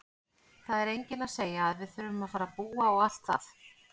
Það er enginn að segja að við þurfum að fara að búa og allt það!